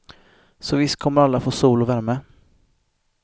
Så visst kommer alla få sol och värme.